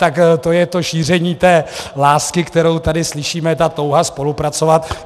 Tak to je to šíření té lásky, kterou tady slyšíme, ta touha spolupracovat.